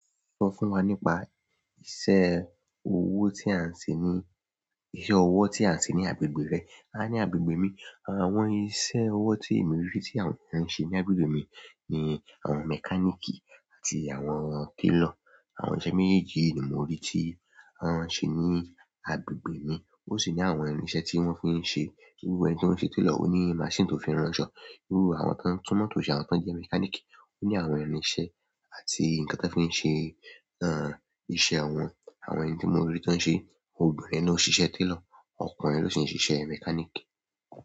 Sọ fún wa nípa iṣẹ́ ọwọ́ tí a ń ṣe ní, iṣẹ́ ọwọ́ tí a ń ṣe ní agbègbè rẹ. A ní agbègbè mi, àwọn iṣẹ́ ọwọ́ tí èmi rí tí àwọn ènìyàn ń ṣe ní agbègbè mi ni àwọn mechanic àti àwọn tailor. Àwọn iṣẹ́ méjèèjì yìí ni mo rí tí wọn ń ṣe ní agbègbè mi. O sì ní àwọn irin iṣẹ́ tí wọn fi nse. Irú ẹni tí ó ń ṣe tailor ó ní machine tó fi ránṣọ. Irú àwọn tó ń tún mọ́tò ṣe àwọn tó ń jẹ́ mechanic ó ní àwọn irinṣẹ́ àti nǹkan tí wọ́n fi ń ṣe, àń, iṣẹ́ wọn. Àwọn ẹni tí mo rí tí wọ́n ń ṣe, obìnrin ló ń ṣíṣe tailor, ọkùnrin ló sì ń ṣíṣe mechanic.